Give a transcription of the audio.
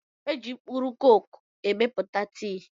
É jị mkpụrụ koko emepụta tii